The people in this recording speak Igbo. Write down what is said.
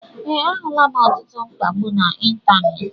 Ee, ahulam ọtụtụ mkpagbu na ịntanetị